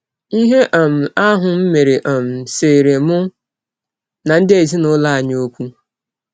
Ihe um ahụ m mere um seere mụ na ndị ezinụlọ anyị ọkwụ.